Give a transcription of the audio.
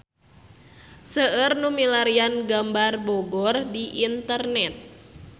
Seueur nu milarian gambar Bogor di internet